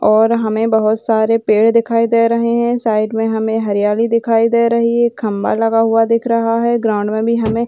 और हमें बोहोत सारे पेड़ दिखाई दे रहे हैं साइड में हमें हरियाली दिखाई दे रही है खम्बा लगा हुआ दिख रहा है ग्राउंड में भी हमें --